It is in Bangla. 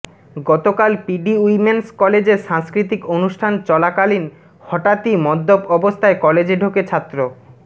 গতকাল পিডি উইমেন্স কলেজের সাংস্কৃতিক অনুষ্ঠান চলাকালীন হঠাতই মদ্যপ অবস্থায় কলেজে ঢোকে ছাত্র